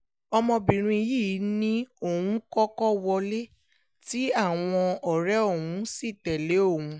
ọmọbìnrin yìí ni òun kọ́kọ́ wọlé tí àwọn ọ̀rẹ́ òun sì tẹ̀lé òun